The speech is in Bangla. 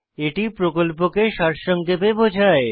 এটি প্রকল্পকে সারসংক্ষেপে বোঝায়